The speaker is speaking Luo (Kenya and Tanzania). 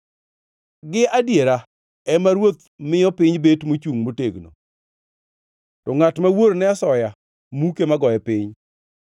Gi adiera ema ruoth miyo piny bet mochungʼ motegno, to ngʼat mawuor ne asoya muke magoye piny.